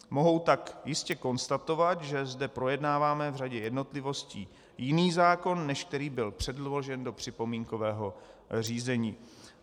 Mohu tak jistě konstatovat, že zde projednáváme v řadě jednotlivostí jiný zákon, než který byl předložen do připomínkového řízení.